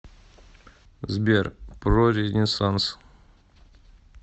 сбер про ренессанс